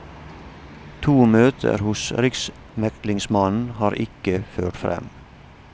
To møter hos riksmeglingsmannen har ikke ført frem.